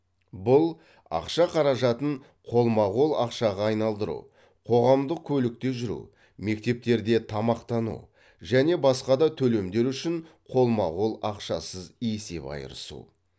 бұл ақша қаражатын қолма қол ақшаға айналдыру қоғамдық көлікте жүру мектептерде тамақтану және басқа да төлемдер үшін қолма қол ақшасыз есеп айырысу